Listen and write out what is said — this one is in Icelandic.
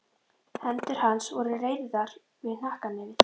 Hendur hans voru reyrðar við hnakknefið.